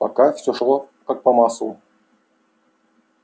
пока все шло как по маслу